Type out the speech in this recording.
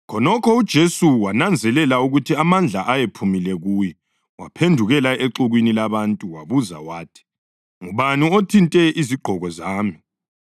Khonokho uJesu wananzelela ukuthi amandla ayephumile kuye. Waphendukela exukwini labantu wabuza wathi, “Ngubani othinte izigqoko zami?”